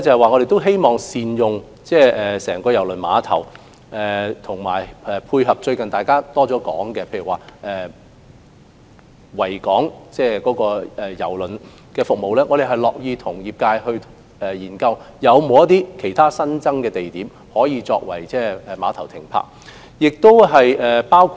我們希望善用整個郵輪碼頭，包括配合大家最近常說的維港渡輪服務，我們樂意與業界研究有否其他新增地點可以作碼頭供船隻停泊之用。